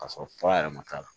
K'a sɔrɔ fura yɛrɛ ma k'a la